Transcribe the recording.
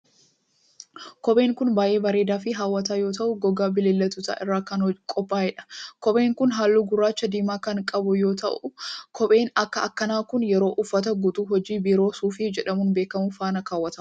Kopheen kun baay'ee bareedaa fi haw'ataa yoo ta'u, gogaa bineeldotaa irraa kan qophaa'e dha. Kopheen kun haalluu gurraacha diimaa kan qabu yoo ta'u, kopheen akka kanaa kun yeroo uffata guutuu hojii biiroo suufii jedhamuun beekamu faana kaawwatama.